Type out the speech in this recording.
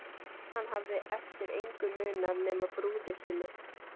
Hann hafði eftir engu munað nema brúði sinni.